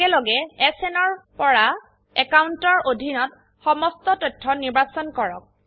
একেলগে এছএন ৰ পৰা অ্যাকাউন্টৰ অধীনত সমস্ত তথ্য নিৰ্বাচন কৰক